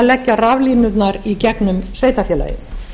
leggja raflínurnar í gegnum sveitarfélagið